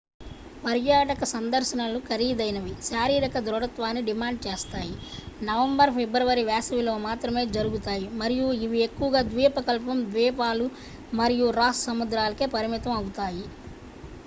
పర్యాటక సందర్శనలు ఖరీదైనవి శారీరక దృఢత్వాన్ని డిమాండ్ చేస్తాయి నవంబర్-ఫిబ్రవరి వేసవిలో మాత్రమే జరుగుతాయి మరియు ఇవి ఎక్కువగా ద్వీపకల్పం ద్వీపాలు మరియు రాస్ సముద్రాలకే పరిమితం అవుతాయి